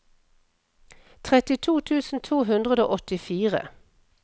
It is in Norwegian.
trettito tusen to hundre og åttifire